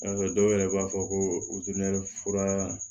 N'a sɔrɔ dɔw yɛrɛ b'a fɔ ko fura